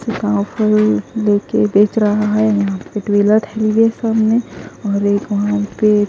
लेके बेच रहा है और एक वहां पे।